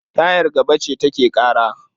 Tayar gaba ce take ƙara.